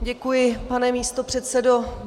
Děkuji, pane místopředsedo.